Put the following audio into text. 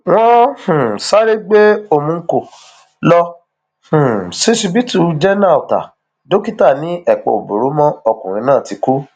wọn um sáré gbé umonko lọ um ṣíṣíbítù jẹnà ọtá dókítà ni ẹpà ò bóró mọ ọkùnrin náà ti kú